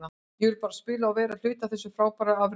Ég vildi bara spila og vera hluti af þessu frábæra afreki.